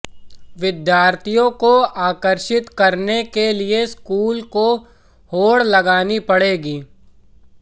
विद्यार्थियों को आकर्षित करने के लिए स्कूलों को होड़ लगानी पड़ेगी